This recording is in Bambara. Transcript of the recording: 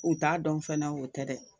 U t'a dɔn fɛnɛ o tɛ dɛ,